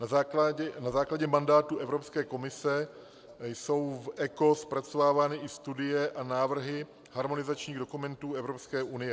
Na základě mandátu Evropské komise jsou v ECO zpracovávány i studie a návrhy harmonizačních dokumentů Evropské unie.